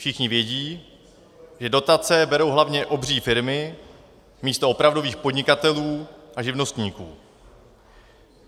Všichni vědí, že dotace berou hlavně obří firmy místo opravdových podnikatelů a živnostníků.